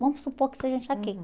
Vamos supor que seja